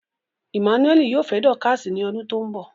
Emmanuel yoo fẹ Dorcas ni odun to nbo